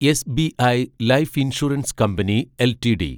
SBI life insurance company LTD